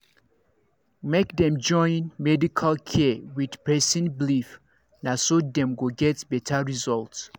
make dem join medical care with person beleive naso dem go get better results